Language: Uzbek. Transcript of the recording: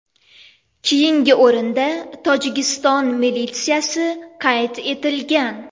Keyingi o‘rinda Tojikiston militsiyasi qayd etilgan.